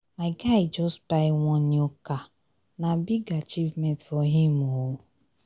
my guy just buy one new car na big achievement for him o.